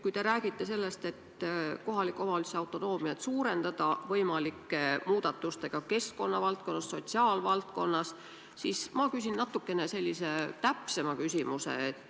Kui te räägite sellest, et kohaliku omavalitsuse autonoomiat tuleks suurendada võimalike muudatustega keskkonnavaldkonnas, sotsiaalvaldkonnas, siis ma küsin natukene täpsema küsimuse.